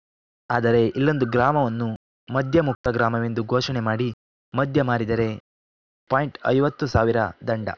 ಆದರೆ ಇಲ್ಲೊಂದು ಗ್ರಾಮವನ್ನು ಮದ್ಯಮುಕ್ತ ಗ್ರಾಮವೆಂದು ಘೋಷಣೆ ಮಾಡಿ ಮದ್ಯ ಮಾರಿದರೆ ಪಾಯಿಂಟ್ ಐವತುಸಾವಿರ ಸಾವಿರ ದಂಡ